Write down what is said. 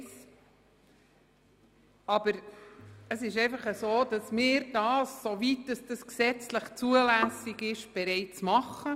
Dennoch verhält es sich so, dass wir regionale Rohstoffe soweit gesetzlich zulässig bereits berücksichtigen.